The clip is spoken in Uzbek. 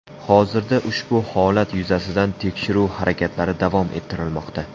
Hozirda ushbu holat yuzasidan tekshiruv harakatlari davom ettirilmoqda.